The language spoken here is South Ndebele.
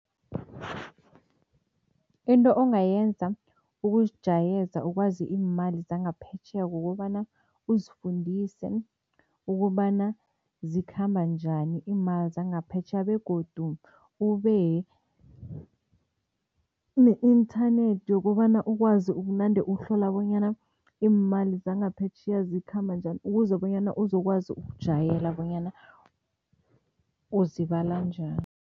Into ongayenza ukuzijayeza ukwazi iimali zangaphetjheya kukobana uzifundise ukobana zikhamba njani iimali zangaphetjheya begodu ube ne-inthanethi yokobana ukwazi ukunande uhlola bonyana iimali zangaphetjheya zikhamba njani, ukuze bonyana uzokwazi ukujayela bonyana uzibala njani.